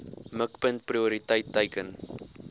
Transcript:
mikpunt prioriteit teiken